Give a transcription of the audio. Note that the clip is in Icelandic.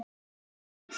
Og inn í heim þess.